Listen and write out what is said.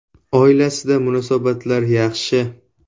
Oilasida munosabatlar yaxshi.